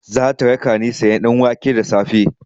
Zata rakani sayan ɗanwake da safe.